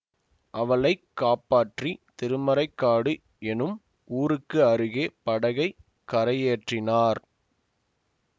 அவளை காப்பாற்றி திருமறைக்காடு எனும் ஊருக்கு அருகே படகைக் கரையேற்றினார்